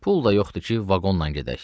Pul da yoxdur ki, vaqonla gedək.